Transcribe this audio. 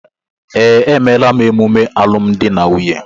Ee, emela m emume alụmdi na nwunye